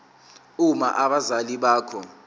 uma abazali bakho